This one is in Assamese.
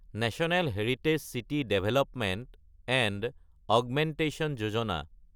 national heritage city development and augmentation Yojana